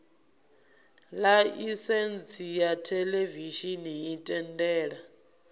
ḽaisentsi ya theḽevishini i tendela